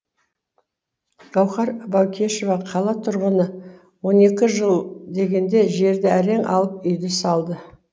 гауһар баукешева қала тұрғыны он екі жыл дегенде жерді әрең алып үйді салды